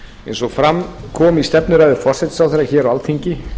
eins og fram kom í stefnuræðu forsætisráðherra hér á alþingi